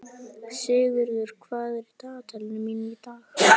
Sigurður, hvað er í dagatalinu mínu í dag?